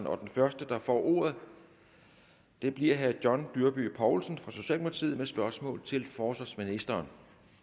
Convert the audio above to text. og den første der får ordet bliver herre john dyrby paulsen fra socialdemokratiet med spørgsmål til forsvarsministeren